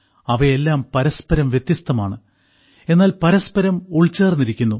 അവയെല്ലാം പരസ്പരം വ്യത്യസ്തമാണ് എന്നാൽ പരസ്പരം ഉൾച്ചേർന്നിരിക്കുന്നു